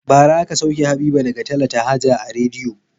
Bara aka sauke Habiba daga talata haja a rediyo.